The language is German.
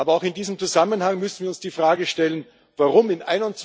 Aber auch in diesem Zusammenhang müssen wir uns die Frage stellen, warum im